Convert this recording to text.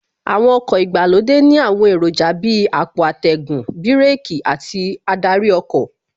Àwọn ọkọ̀ ìgbàlódé ní àwọn èròjà Bíi àpò atẹ́gùn, bíràkì àti adarí ọkọ̀